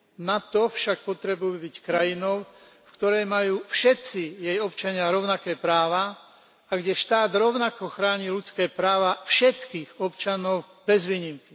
Na to však potrebujú byť krajinou, v ktorej majú všetci jej občania rovnaké práva a kde štát rovnako chráni ľudské práva všetkých občanov bez výnimky.